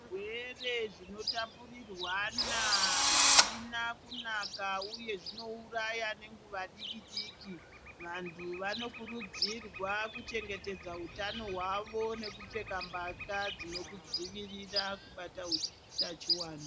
Zvirwere zvinotapurirwana azvina kunaka uye zvinouraya nenguva diki diki vantu vanokurudzirwa kuchengetedza utano hwavo nekupfeka mbatya dzinokudzivirira kubata utachiwana.